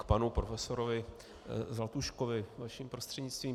K panu profesorovi Zlatuškovi vaším prostřednictvím.